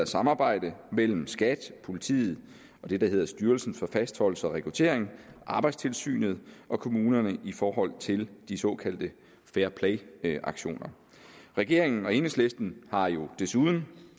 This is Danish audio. samarbejde mellem skat politiet og det der hedder styrelsen for fastholdelse og rekruttering arbejdstilsynet og kommunerne i forhold til de såkaldte fairplayaktioner regeringen og enhedslisten har jo desuden